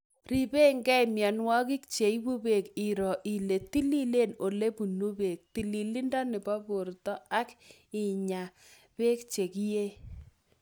Ribekei mienwokik cheibu beek ,iro ile tililen olebunu beek , tililindo nebo borto ak inya beek che kiei